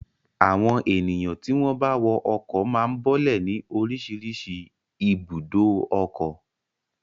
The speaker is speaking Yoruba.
Àwọn ènìyàn tí wọ́n bá wọ ọkọ̀ máa ń bọ́lẹ̀ ní oríṣiríṣi ibùdó ọkọ̀.